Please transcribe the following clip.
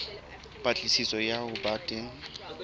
patlisiso ya ho ba teng